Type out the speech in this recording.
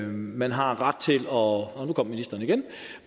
man har ret til og nu kom ministeren igen